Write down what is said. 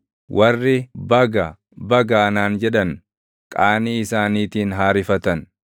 Warri, “Baga! Baga!” anaan jedhan, qaanii isaaniitiin haa rifatan.